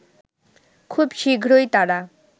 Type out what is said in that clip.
খুব শীঘ্রই তারা